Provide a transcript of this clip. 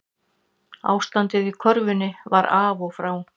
Ástandið í körfunni var af og frá